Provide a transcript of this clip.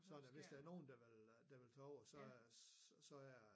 Så da hvis der nogen der vil øh der vil tage over så så er